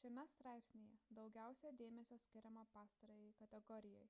šiame straipsnyje daugiausia dėmesio skiriama pastarajai kategorijai